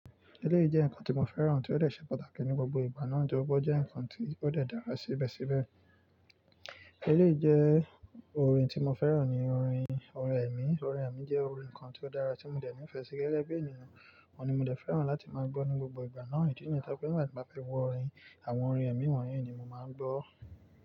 Eléyìí jẹ́ nǹkan tí mo fẹ́ràn tí ó dè ṣe pàtàkì ní gbogbo ìgbà náà, toripe ọ́ jẹ́ nǹkan tí ó de dára síbẹ̀síbẹ̀. Eléyìí jẹ́ orin tí mo fẹ́ràn ni orin ọ̀rin emi. Ọ̀rin emi jẹ́ orin kan tí ó dára tí mo dẹ̀ nifẹ́ sí gẹ́gẹ́ bí ènìyàn, òun ni mo dẹ̀ ń fẹ́ràn láti máa gbọ́ ní gbogbo ìgbà náà. Ìdí nìyẹn to je pe tí mo bá fẹ́ gbo orin, àwọn orin ẹ̀mí wọ̀nyí ni mo máa ń gbọ́.